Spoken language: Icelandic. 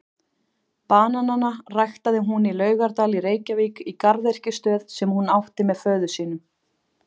Bananana ræktaði hún í Laugardal í Reykjavík í garðyrkjustöð sem hún átti með föður sínum.